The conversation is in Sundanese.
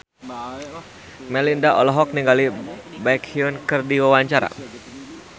Melinda olohok ningali Baekhyun keur diwawancara